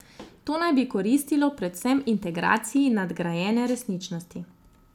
To naj bi koristilo predvsem integraciji nadgrajene resničnosti.